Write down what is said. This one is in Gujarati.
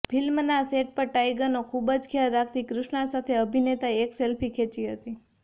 ફિલ્મના સેટ પર ટાઇગરનો ખૂબ જ ખ્યાલ રાખતી કૃષ્ણા સાથે અભિનેતાએ એક સેલ્ફી ખેંચી હતી